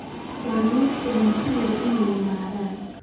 Waa meeshii aan ku idhi inay yimaadaan